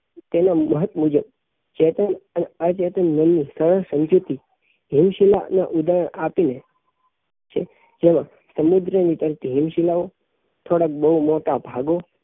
માહિતી મુજબ ચેતન અને અચેતન મન ની સહ સમજૂતી હિમશીલા નાં ઉદાહરણો આપી ને જેમાં સમુદ્રો ઉપર થી હિમશીલાઓ થોડાક બહું મોટા ભાગો